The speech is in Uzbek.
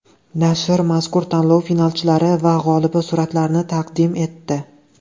Nashr mazkur tanlov finalchilari va g‘olibi suratlarini taqdim etdi.